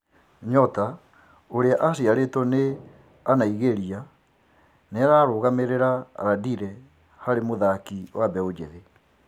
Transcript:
Nyota ũrĩa aciarĩtwo nĩ Anaigĩria nĩararũgamĩrĩra Landire harĩ mũthaki wa mbeu njithi.